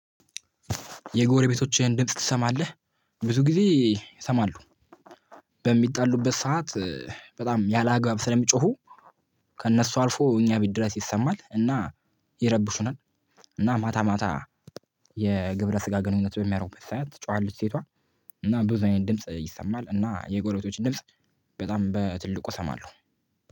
የጎረቤቶችህን ድምጽ ትሰማለህ? ብዙ ጊዜ እሰማለሁ። በሚጣሉበት ሰዓት በጣም ያላግባብ ስለሚጮሁ ከእነሱ አልፎ እኛ ቤት ድረስ ይሰማል እና ይረብሹናል። እና ማታ ማታ የግብረ ስጋ ግንኙነት በሚያረጉበት ሳዓት ትጮሃለች ሴቷ። እና አይነት ብዙ ድምጽ ይሰማል እና የጎረቤቶችን ድምጽ በጣም በትልቁ እሰማለሁ